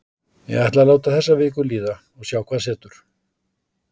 Ég ætla að láta þessa viku líða og sjá hvað verður.